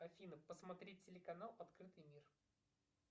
афина посмотри телеканал открытый мир